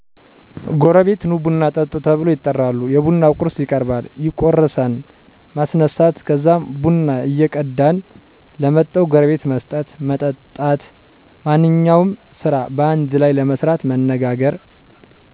ጎረቤት ኑ ቡና ጠጡ ተብሎ ይጠራሉ። የቡና ቁርስ ይቀርባል፣ ይቁረሳን፣ ማስነሳት ከዛም ቡና ይቀዳን ለመጠዉ ጎረቤት መስጠት፣ መጠጣት። ማንኛውም ስራ በአንድ ለይ ለመስራት መነጋገር።